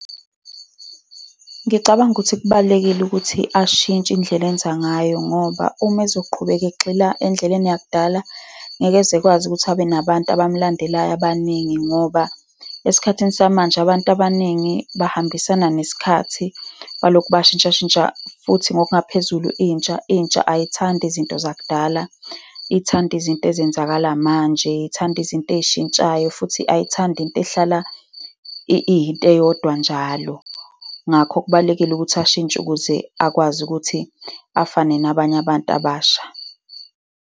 Ngicabanga ukuthi kubalulekile ukuthi ashintshe indlela enza ngayo, ngoba uma ezoqhubeka egxila endleleni yakudala, ngeke ezekwazi ukuthi abe nabantu abamlandelayo abaningi, ngoba esikhathini samanje abantu abaningi bahambisana nesikhathi balokhu bashintshashintsha. Futhi ngokungaphezulu, intsha ayithandi izinto zakudala. Ithanda izinto ezenzakala manje. Ithanda izinto ey'shintshayo, futhi ayithandi into ehlala iyinto eyodwa njalo. Ngakho kubalulekile ukuthi ashintshe ukuze akwazi ukuthi afane nabanye abantu abasha.